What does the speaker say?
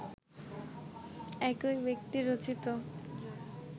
একই ব্যক্তি রচিত